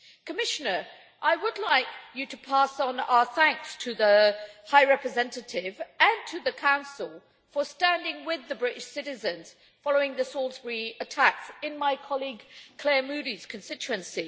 Commissioner, I would like you to pass on our thanks to the High Representative and to the Council for standing with the British citizens following the Salisbury attacks in my colleague Clare Moody's constituency.